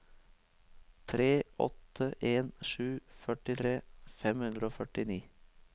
tre åtte en sju førtitre fem hundre og førtini